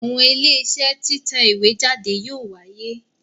Àwọn Iléeṣẹ́ títẹ̀ ìwé jáde yóò wáyé